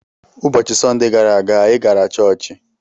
Ụbọchị Sọnde gara aga, anyị gara chọọchị.